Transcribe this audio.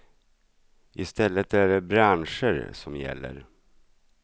I stället är det branscher som gäller.